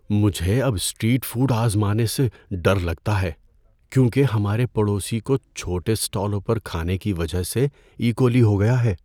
مجھے اب street food آزمانے سے ڈر لگتا ہے کیونکہ ہمارے پڑوسی کو چھوٹے اسٹالوں پر کھانے کی وجہ سے ایکولی ہو گیا ہے۔